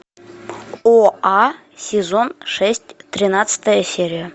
оа сезон шесть тринадцатая серия